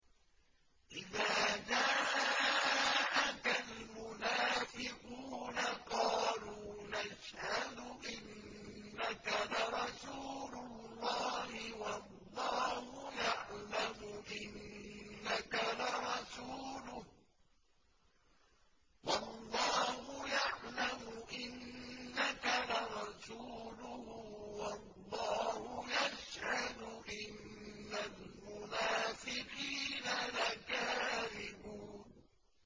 إِذَا جَاءَكَ الْمُنَافِقُونَ قَالُوا نَشْهَدُ إِنَّكَ لَرَسُولُ اللَّهِ ۗ وَاللَّهُ يَعْلَمُ إِنَّكَ لَرَسُولُهُ وَاللَّهُ يَشْهَدُ إِنَّ الْمُنَافِقِينَ لَكَاذِبُونَ